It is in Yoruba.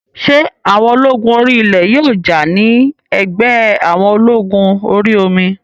Ṣé àwọn ológun orí ilẹ̀ yóò jà ní ẹ̀gbẹ́ àwọn ológun orí omi?